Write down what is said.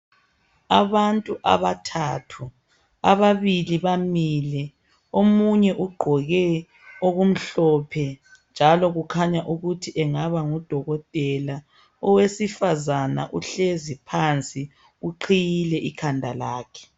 Abantu abathathu ababili bamile omunye ugqoke okumhlophe njalo kukhanya ukuthi engaba ngudokotela owesifazana uhlezi phansi uqhiyile ikhanda lakhe.